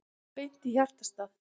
Beint í hjartastað